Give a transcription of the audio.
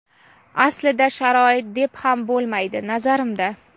Aslida sharoit, deb ham bo‘lmaydi, nazarimda.